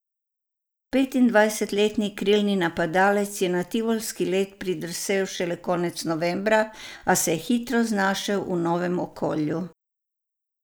Petindvajsetletni krilni napadalec je na tivolski led pridrsal šele konec novembra, a se je hitro znašel v novem okolju.